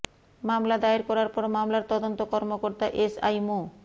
মামলা দায়ের করার পর মামলার তদন্ত কর্মকর্তা এসআই মো